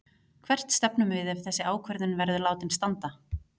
Hvert stefnum við ef þessi ákvörðun verður látin standa?